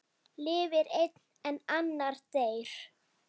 Lifir einn en annar deyr?